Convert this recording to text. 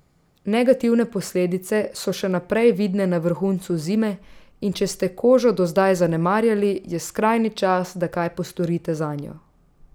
Negativne posledice so še posebej vidne na vrhuncu zime in če ste kožo do zdaj zanemarjali, je skrajni čas, da kaj postorite zanjo.